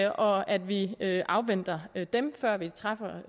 og at vi afventer dem før vi